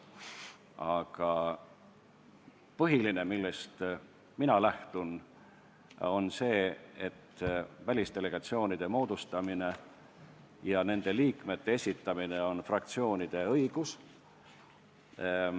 Aga põhiline, millest mina lähtun, on see, et välisdelegatsioonide moodustamine ja sinna liikmekandidaatide esitamine on fraktsioonide õigus.